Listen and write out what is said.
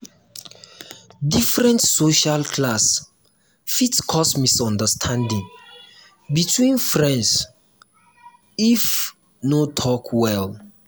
different social class fit cause misunderstanding between friends if no talk well.